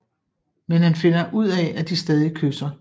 Men han finder ud af at de stadig kysser